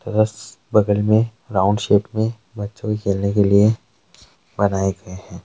तथा स बगल मे राउन्ड शेप मे बच्चों के खेलने के लिए बनाए गए है।